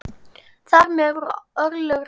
Þar með voru örlög ráðin.